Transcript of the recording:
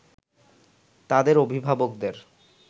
তাদের অভিভাবকদের